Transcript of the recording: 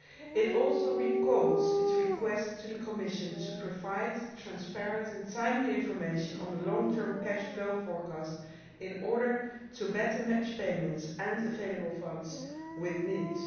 It also recalls its request to the Commission to provide transparent and timely information on the long term cash flow forecast in order to better match payments and available funds with needs.